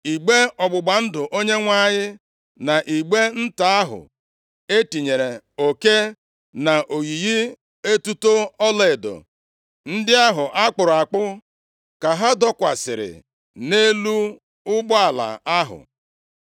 Igbe ọgbụgba ndụ Onyenwe anyị na igbe nta ahụ e tinyere oke na oyiyi etuto ọlaedo ndị ahụ a kpụrụ akpụ ka ha dọkwasịrị nʼelu ụgbọala ahụ.